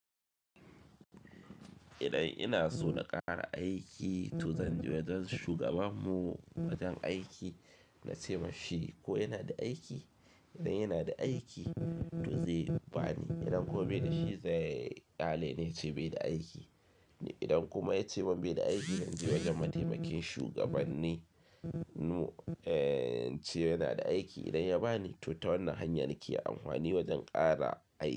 Idan ina so na ƙara aiki to zan je wajen shugaba mu wajen aiki na ce ma shi ko yana da aiki, idan yana da aiki to zai bani. Idan kuwa bai da shi sai hale ne ce bai da aiki. Idan kuma ya ce ban bai da aiki zan je wajen mataimakin shugabanni. Nu ehh, ce yana da aiki idan ya bani to ta wannan hanya nake amfani wajen ƙara aiki.